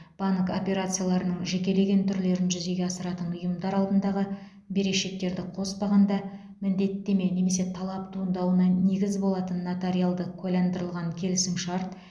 банк операцияларының жекелеген түрлерін жүзеге асыратын ұйымдар алдындағы берешектерді қоспағанда міндеттеме немесе талап туындауына негіз болатын нотариалды куәландырылған келісімшарт